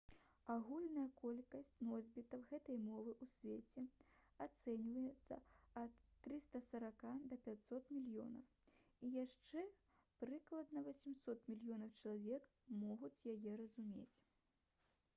агульная колькасць носьбітаў гэтай мовы ў свеце ацэньваецца ад 340 да 500 мільёнаў і яшчэ прыкладна 800 мільёнаў чалавек могуць яе разумець